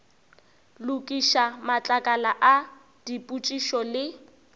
lokiša matlakala a dipotšišo le